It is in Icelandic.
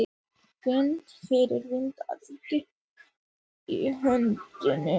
Finn fyrir vandræðagangi í höndunum.